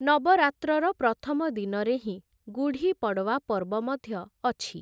ନବରାତ୍ରର ପ୍ରଥମ ଦିନରେ ହିଁ ଗୁଢ଼ି ପଡ଼ୱା ପର୍ବ ମଧ୍ୟ ଅଛି ।